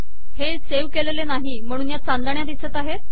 हे सेव्ह केलेले नाही म्हणून या चांदण्या दिसत आहेत